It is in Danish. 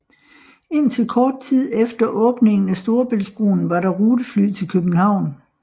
Indtil kort tid efter åbningen af Storebæltsbroen var der rutefly til København